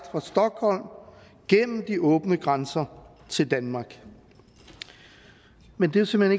fra stockholm gennem de åbne grænser til danmark men det er simpelt